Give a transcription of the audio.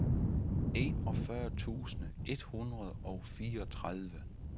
enogfyrre tusind et hundrede og fireogtredive